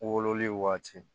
Wololi waati